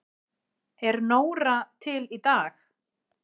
Er Nóra til í dag?